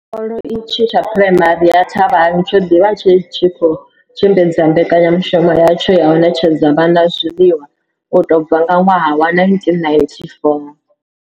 Tshikolo itshi tsha Phuraimari ya Thabang tsho ḓi vha tshi tshi khou tshimbidza mbekanyamushumo yatsho ya u ṋetshedza vhana zwiḽiwa u tou bva nga ṅwaha wa 1994.